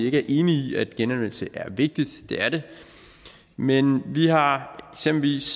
ikke er enige i at genanvendelse er vigtigt det er det men vi har eksempelvis